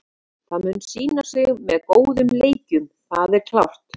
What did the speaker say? Það mun sýna sig með góðum leikjum, það er klárt.